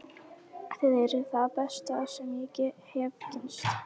Þið eruð það besta sem ég hef kynnst.